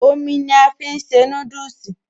Omi ni a fi ń se núdùsì